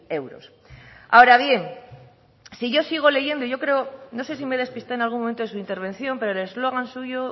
euros ahora bien si yo sigo leyendo yo creo no sé si me despiste en algún momento de su intervención pero el eslogan suyo